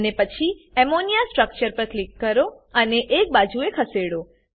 અને પછી ammonia structure પર ક્લિક કરો અને એક બાજુએ ખસેડો